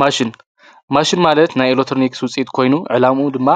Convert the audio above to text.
ማሽን።- ማሽን ማለት ናይ ኤሌትረኒክስ ውፀኢት ኮይኑ ዕላምኡ ድማ